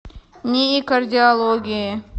нии кардиологии